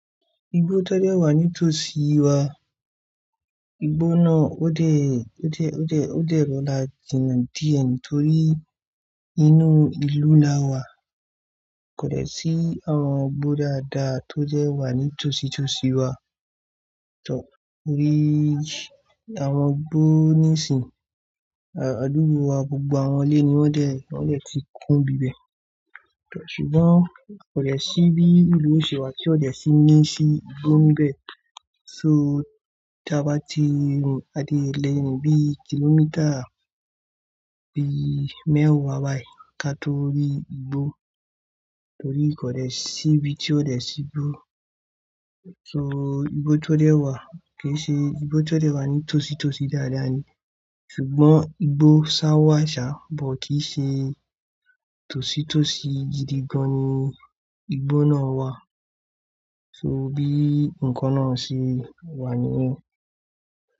Igbó tó dẹ́ wà ní tòsí wa. Igbó náà ó dẹ̀, ó dẹ̀, ó dẹ̀, ó dẹ̀ rọrà jìna díẹ̀ torí inú ìlú la wà. Kò dẹ́ sí àwọn igbó dáadáa tó jẹ wà ní tòsí tòsí wa. Tọ́, mo rí àwọn igbó ní sìn, àádùgbò wa gbogbo, àwọn ilé ní wọ́n dẹ̀, wọ́n dẹ̀ ti kún bibẹ̀. Tọ́, ṣùgbọ́n kò dẹ́ sí bí ìlú òṣè wa tí ó dẹ́ sí ní sí igbó níbẹ̀. So tí a bá ti rìn, a dé lè rín bí kìlómítà bí mẹ́wàá wáì ká tó rí igbó. Torí kò dẹ́ síbi tí ó dẹ́ sí igbó. So igbó tó dẹ́ wà kì í ṣe igbó tó dẹ́ wà ní tòsí tòsí dáadáa ní. Ṣùgbọ́n igbó ṣá wà ṣá, bó kì í ṣe tòsí tòsí gidigan ni igbó náà wà. So bí nǹkan náà ṣe wà ni yen.